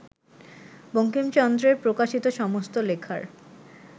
বঙ্কিমচন্দ্রের প্রকাশিত সমস্ত লেখার